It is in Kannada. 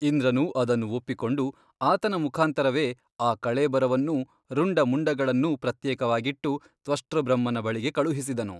ಇಂದ್ರನು ಅದನ್ನು ಒಪ್ಪಿಕೊಂಡು ಆತನ ಮುಖಾಂತರವೇ ಆ ಕಳೇಬರವನ್ನೂ ರುಂಡ ಮುಂಡಗಳನ್ನೂ ಪ್ರತ್ಯೇಕವಾಗಿಟ್ಟು ತ್ವಷ್ಟೃಬ್ರಹ್ಮನ ಬಳಿಗೆ ಕಳುಹಿಸಿದನು.